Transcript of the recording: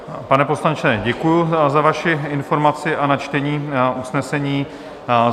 Pane poslanče, děkuju za vaši informaci a načtení usnesení.